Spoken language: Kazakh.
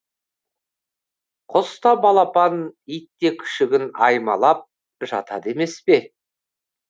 құс та балапанын ит те күшігін аймалап жатады емес пе